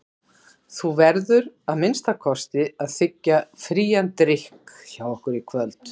Þú verður að minnsta kosti að þiggja frían drykk hjá okkur í kvöld.